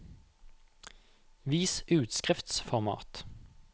Vis utskriftsformat